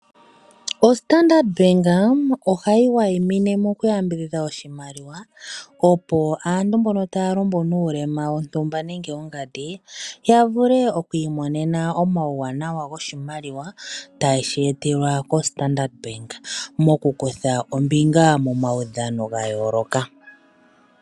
OStandart Bank ohaiwaimine oshimaliwa shaanuulema opo aantu mbono taalumbu nuulema ya vule okwiimonena omauwanawa goshimaliwa ta ye shetelwa koStandard Bank mokukutha ombinga momaudhano gayoloka.